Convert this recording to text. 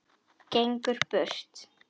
Gengur burt.